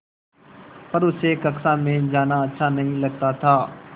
पर उसे कक्षा में जाना अच्छा नहीं लगता था